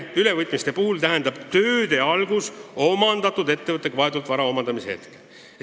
Ülevõtmiste puhul tähendab tööde algus omandatud ettevõttega vahetult seotud vara omandamise hetke.